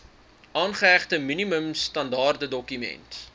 aangehegte minimum standaardedokument